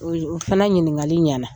O fana ɲiningali ɲana .